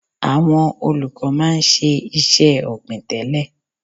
Àwọn olùkọ́ máa ń ṣe iṣẹ́ ọ̀gbìn tẹ́lẹ̀.